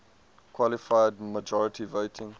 qualified majority voting